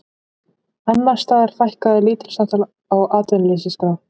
Annars staðar fækkaði lítilsháttar á atvinnuleysisskrá